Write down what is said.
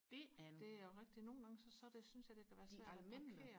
det er jo rigtigt nogengange så synes jeg det kan være svært at parkere